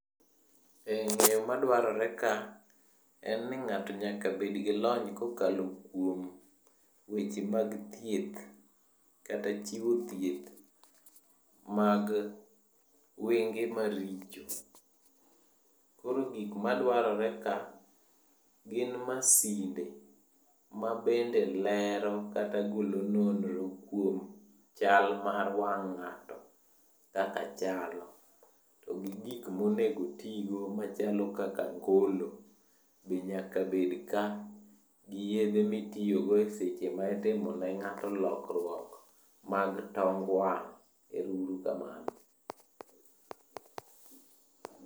E ng'eyo madwarore ka, en ni ng'ato nyaka bedgi lony kokalo kuom weche mag thieth kata chiwo thieth mag wenge maricho. Koro gikmadwaroreka gin masinde mabende lero kata golo nonro kuom chal mar wang' ng'ato kaka chalo. To gi gik monegotigo machalo kaka angolo be nyaka bedka, gi yedhe mitiyogo e seche maitimonenga'to lokruok mag tong wang'. Ero uru kamano.